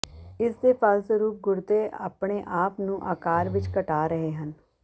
ਇਸ ਦੇ ਫਲਸਰੂਪ ਗੁਰਦੇ ਆਪਣੇ ਆਪ ਨੂੰ ਆਕਾਰ ਵਿਚ ਘਟਾ ਰਹੇ ਹਨ